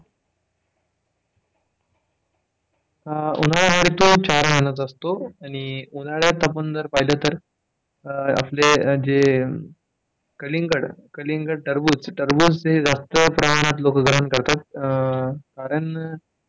उन्हाळा हा ऋतू चार महिन्याचा असतो आणि उन्हाळ्यात आपण जर पाहिलं तर आपले जे कलिंगड, कलिंगड, टरबूज टरबूज हे जास्त प्रमाणात लोक ग्रहण करतात कारण,